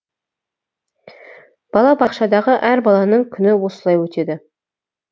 бала бақшадағы әр баланың күні осылай өтеді